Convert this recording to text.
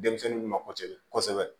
Denmisɛnnin dun ma ko cɛ kosɛbɛ